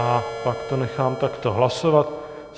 A pak to nechám takto hlasovat.